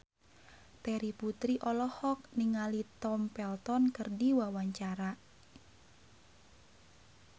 Terry Putri olohok ningali Tom Felton keur diwawancara